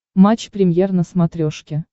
матч премьер на смотрешке